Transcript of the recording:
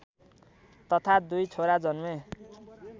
तथा दुई छोरा जन्मे